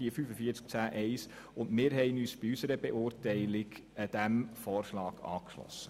Wir haben uns bei der Beurteilung diesem Vorschlag angeschlossen.